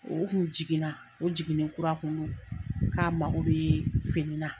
O ku jiginna, o jiginɛ kura kun don, k'a ma ko bɛ finina.